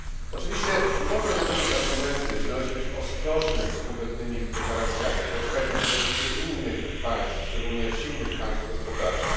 Oczywiście można zrozumieć argumenty, że należy być ostrożnym z konkretnymi deklaracjami, poczekać na propozycje innych państw, szczególnie silnych gospodarczo.